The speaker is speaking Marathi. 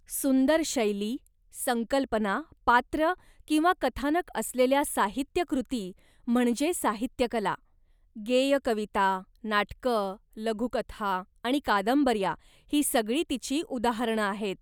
सुंदर शैली, संकल्पना, पात्रं किंवा कथानक असलेल्या साहित्यकृती म्हणजे साहित्यकला. गेय कविता, नाटकं, लघुकथा आणि कादंबऱ्या ही सगळी तिची उदाहरणं आहेत.